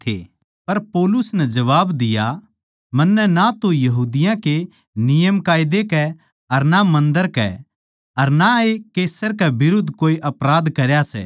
पर पौलुस नै जबाब दिया मन्नै ना तो यहूदियाँ के नियमकायदे कै अर ना मन्दर कै अर ना ए कैसर कै बिरुद्ध कोए अपराध करया सै